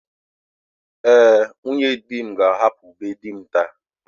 Ee, nwunye di m ga-ahapụ be di m taa.